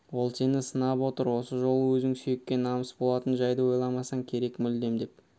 ол сені сынап отыр осы жолы өзің сүйекке намыс болатын жайды ойламасаң керек мүлдем деп